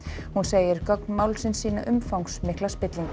hún segir gögn málsins sýna umfangsmikla spillingu